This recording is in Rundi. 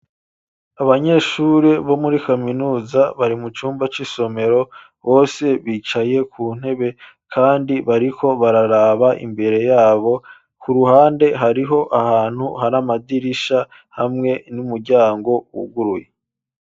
Abanyeshuri bo muri kaminuza bari mu cumba c'isomero bose bicaye ku ntebe kandi bariko bararaba imbere yabo, ku ruhande hariho ahantu hari amadirisha hamwe n'umuryango wuguruye.